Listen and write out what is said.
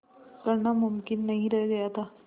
करना मुमकिन नहीं रह गया था